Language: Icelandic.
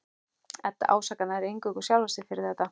Edda ásakar nær eingöngu sjálfa sig fyrir þetta.